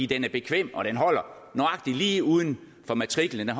den er bekvem og den holder nøjagtig lige uden for matriklen og